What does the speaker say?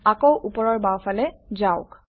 আকৌ ওপৰৰ বাওঁফালে যাওক